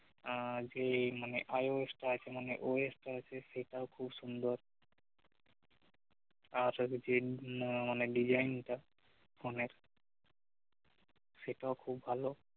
আহ যেই মানে IOS আছে মানে OS টা আছে সেটাও খুব সুন্দর আর design টা ফোনের সেটাও খুব ভাল